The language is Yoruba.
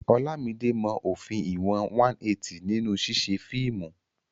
Olamide mọ òfin ìwọ̀n 180 nínú ṣíṣe fíìmù.